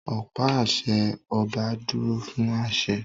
Ọ̀pá àṣẹ ọba dúró fún àṣẹ